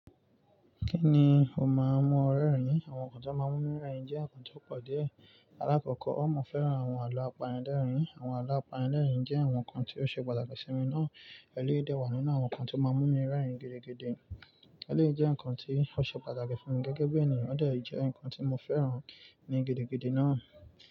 Kí ni o máa mú o rérìn? Àwọn nǹkan tó máa mú mí rérìn jẹ́ nǹkan tó pọ̀ díẹ̀. Alákòókò, ó mọ fẹ́ràn àwọn àlọ́ àpànilẹ̀rìn. Àwọn àlọ́ àpànilẹ̀rìn jẹ́ àwọn nǹkan tí ó ṣe pàtàkì sí mi ná. Ẹ̀léyìí dà wà nínú àwọn nǹkan tó máa mú mi rérìn gidigidi. Ẹ̀léyìí jẹ́ nǹkan tí ó ṣe pàtàkì fún mi gẹ́gẹ́ bí ènìyàn, ọ̀dẹ̀ jẹ́ nǹkan tí mo fẹ́ràn ní gidigidi náà.